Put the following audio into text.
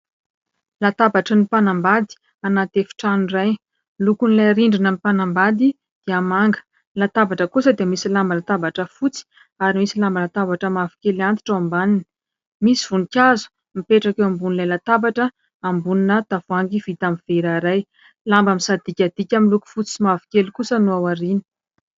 Latabatry ny mpanambady anaty efitrano iray. Ny lokon'ilay rindrinan'ny mpanambady dia manga, ny latabatra kosa dia misy lamba latabatra fotsy, ary misy lamba latabatra mavokely antitra ao ambaniny ; misy voninkazo mipetraka eo ambonin'ilay latabatra ambonina tavoahangy vita amin'ny vera iray, lamba misadikadika miloko fotsy sy mavokely kosa no ao aoriany.